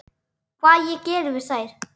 Hvað ég geri við þær?